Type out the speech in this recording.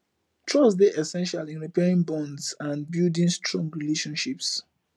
trust dey essential in repairing bonds and building strong relationships